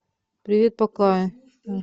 привет пока